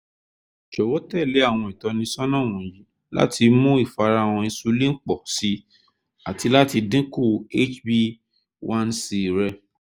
jọwọ tẹle awọn itọnisọna wọnyi lati mu ifarahan insulin pọ si ati lati dinku hba one c rẹ